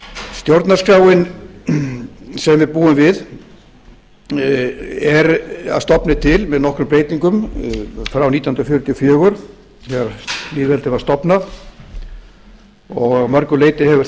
stjórnarskráin sem við búum við er að stofni til með nokkrum breytingum frá nítján hundruð fjörutíu og fjögur þegar lýðveldið var stofnað að mörgu leyti hefur